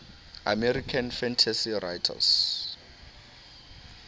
american fantasy writers